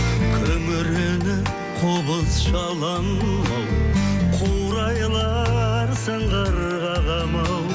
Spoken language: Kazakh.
күңіреніп қобыз шаламын ау қурайлар сыңғыр қағады ма ау